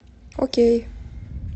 окей